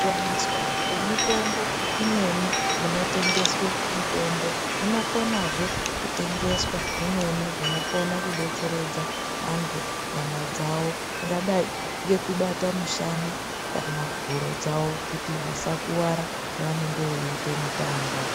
Kuwaniswa kwemitombo imweni kunotengeswe mitombo munokonazve kutengeswa zvimweni zvinokona kudetseredza vantu nyama dzavo zvingadai nekubata mushana kana huro dzavo kuti vasakuwara pavanenge veita mutambo.